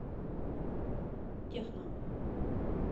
техно